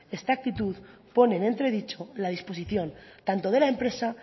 esta actitud pone en entredicho la disposición tanto de la empresa